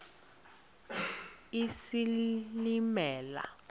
isilimela